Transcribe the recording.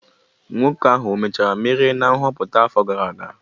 Nwoke ahụ emechara merie na nhọpụta afọ gara aga?